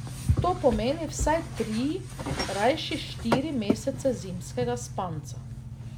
To pomeni vsaj tri, rajši štiri mesece zimskega spanca.